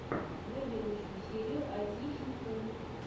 вруби лучшую серию айтищинфу